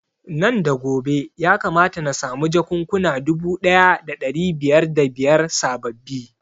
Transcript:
Nan da gobe ya kamata na samu jakunkuna dubu ɗaya da ɗari biyar da biyar sababbi